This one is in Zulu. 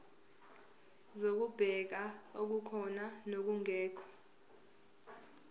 zokubheka okukhona nokungekho